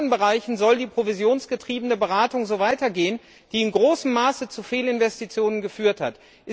In allen anderen Bereichen soll die provisionsgetriebene Beratung so weitergehen, die in großem Maße zu Fehlinvestitionen geführt hat.